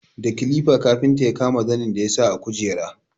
Da kilifa kafinta ya kama zanin da ya sa a kujera.